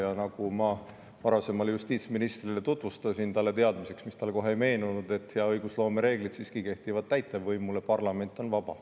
Ja nagu ma varasemale justiitsministrile tutvustasin, talle teadmiseks, mis talle kohe ei meenunud, et hea õigusloome reeglid siiski kehtivad täitevvõimule, parlament on vaba.